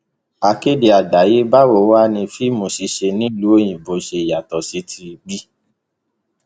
akéde àgbáyé báwo wàá ní fíìmù ṣiṣẹ nílùú òyìnbó ṣe yàtọ sí tibí